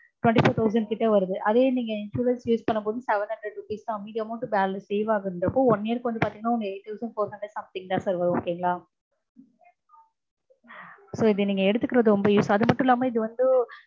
twenty four thousand கிட்ட வருது. அதே நீங்க insurance use பண்ணும்போது seven hundred rupees தா. மீதி amount save ஆகுதுங்கறப்போ one year க்கு வந்து பாத்தீங்கன்னா one year க்கு வந்து பாத்தீங்கனா உங்களுக்கு eight thounsand four hundred something தா sir வரும் okay ங்களா?